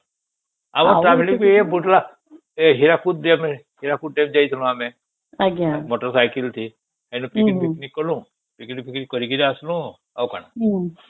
ଆଉ travel ବି ବଢିଆ ଏ ହୀରାକୁଦ ଡ୍ୟାମ ହୀରାକୁଦ ଡ୍ୟାମ ଯାଇଥିଲୁ ଆମେ ମୋଟର ସାଇକେଲ ଥି ଏଣୁ ପିକନିକ କଲୁ ପିକନିକ ଫିକନିକ କରିକି ଆସିଲୁ ଆଉ କଣ